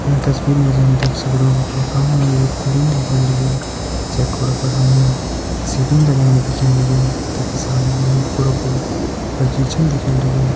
ईं तस्वीर मा जी हम देख सगदों कि यखा मा हमि एक कूड़ुन दिखेण लग्युं जै कुड़ा फर हमि सीढ़ी लगायीं दिखेण लगीं तखि सामनि हमे वे कुड़ा कु बगीचन दिखेण लग्युं।